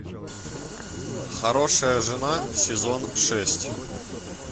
хорошая жена сезон шесть